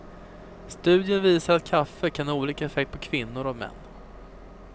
Studien visar att kaffe kan ha olika effekt på kvinnor och män.